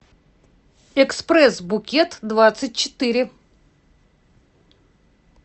экспресс букет двадцать четыре